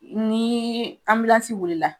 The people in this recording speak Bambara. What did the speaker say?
Ni anbilansi wulila